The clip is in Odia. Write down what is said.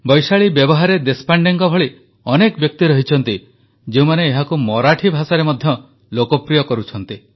ବୈଶାଳୀ ବ୍ୟବହାରେ ଦେଶପାଣ୍ଡେଙ୍କ ଭଳି ଅନେକ ବ୍ୟକ୍ତି ରହିଛନ୍ତି ଯେଉଁମାନେ ଏହାକୁ ମରାଠୀ ଭାଷାରେ ମଧ୍ୟ ଲୋକପ୍ରିୟ କରୁଛନ୍ତି